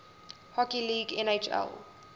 hockey league nhl